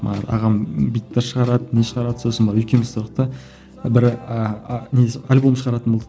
ағам бүйтіп бір шығарады не шығарады сосын барып екеуміз тұрдық та бір ыыы несі альбом шығаратын болдық